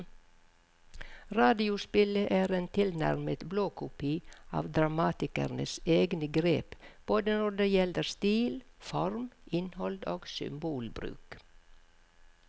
Radiospillet er en tilnærmet blåkopi av dramatikerens egne grep både når det gjelder stil, form, innhold og symbolbruk.